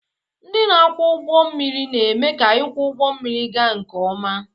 Ndị na-akwọ ụgbọ mmiri na-eme ka ịkwọ ụgbọ mmiri ga nke ọma.